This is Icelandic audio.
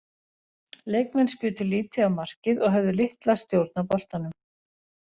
Leikmenn skutu lítið á markið og höfðu litla stjórn á boltanum.